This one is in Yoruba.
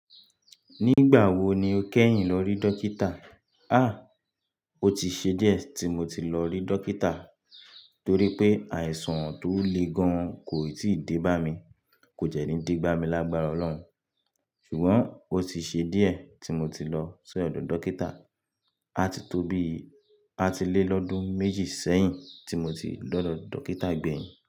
Nígbà wo ni o kẹ́yìn lọ rí dókítà? À, ó ti ṣe díẹ̀ tí mo ti lọ rí dókítà torí pé àìsàn tó le gan kò ì tí dé bá mi. Kò jẹ́ ní de bá mi lágbára Ọlọ́run ṣùgbọ́n ó ti ṣe díẹ̀ tí mo ti lọ sí ọ̀dọ̀ dókítà. A ti tóbi, a ti lé lọ́dún méjì sẹ́yìn tí mo ti dọ́dọ̀ dókítà gbẹ̀yin.